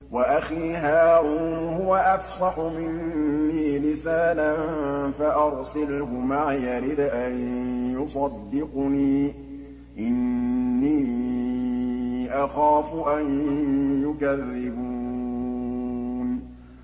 وَأَخِي هَارُونُ هُوَ أَفْصَحُ مِنِّي لِسَانًا فَأَرْسِلْهُ مَعِيَ رِدْءًا يُصَدِّقُنِي ۖ إِنِّي أَخَافُ أَن يُكَذِّبُونِ